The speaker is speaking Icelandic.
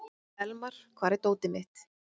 Elmar, hvar er dótið mitt?